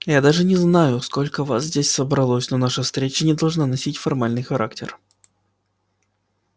я даже не знаю сколько вас здесь собралось но наша встреча не должна носить формальный характер